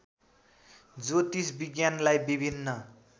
ज्योतिष विज्ञानलाई विभिन्न